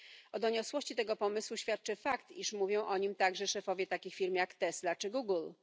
O doniosłości tego pomysłu świadczy fakt, iż mówią o nim także szefowie takich firm jak Tesla czy Google.